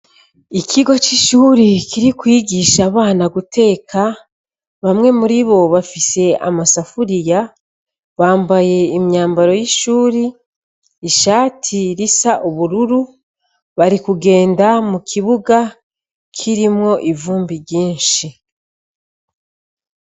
Ikigo c'ishuri iri kwigisha abana guteka, bamwe muri bo bafise amasafuriya, bambaye imyambaro y'ishuri, ishati risa ubururu. Bari kugenda mu kibuga kirimwo kirimwo ivumbi ryinshi.